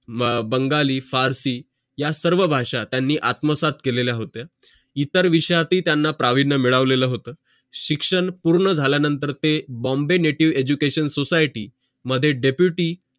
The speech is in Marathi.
बंगाली, फारसी या सर्व भाषा त्यांनी आत्मसात केलेल्या होत्या इतर विषयातही त्यांना प्राविण्य मिडवलेलं होत शिक्षण पूर्ण झाल्या नंतर ते bombay native education society मध्ये deputy